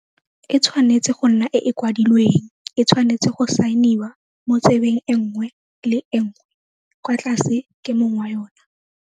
E tshwanetse go nna e e kwadilweng, e tshwanetse go saeniwa mo tsebeng e nngwe le e nngwe kwa tlase ke mong wa yona.